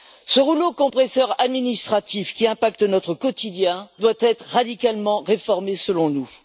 Ce rouleau compresseur administratif qui impacte notre quotidien doit être radicalement réformé, selon nous.